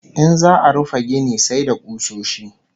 In za'a rufe gini sai da kusoshi